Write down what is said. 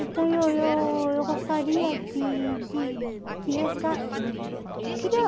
Então, eu eu eu gostaria de de de resga queria